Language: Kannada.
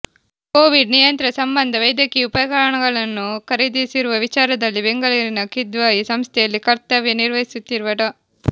ಕೋವಿಡ್ ನಿಯಂತ್ರಣ ಸಂಬಂಧ ವೈದ್ಯಕೀಯ ಉಪಕರಣಗಳನ್ನು ಖರೀದಿಸಿರುವ ವಿಚಾರದಲ್ಲಿ ಬೆಂಗಳೂರಿನ ಕಿದ್ವಾಯಿ ಸಂಸ್ಥೆಯಲ್ಲಿ ಕರ್ತವ್ಯ ನಿರ್ವಹಿಸುತ್ತಿರುವ ಡಾ